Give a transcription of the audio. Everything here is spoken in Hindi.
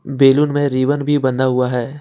बैलून में रिबन भी बंधा हुआ है।